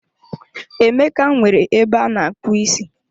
Emeka nwere ebe ana-akpu isi